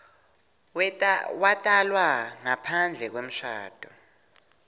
watalwa ngaphandle kwemshado